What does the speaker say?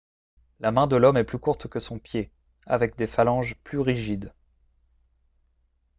la main de l'homme est plus courte que son pied avec des phalanges plus rigides